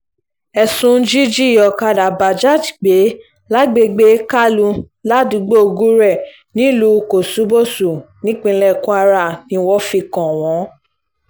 ẹ̀sùn jíjí ọ̀kadà bajaj gbé lágbègbè kaulu ládùúgbò gure nílùú kòṣùbọ́sù nípínlẹ̀ kwara ni wọ́n fi kàn wọ́n